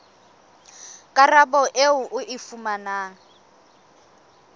karabo eo o e fumanang